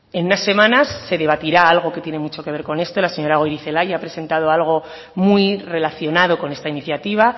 en unas semanas se debatirá algo que tiene mucho que ver con esto la señora goirizelaia ha presentado algo muy relacionado con esta iniciativa